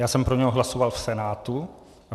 Já jsem pro něj hlasoval v Senátu.